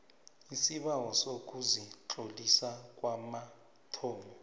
isibawo sokuzitlolisa kwamathomo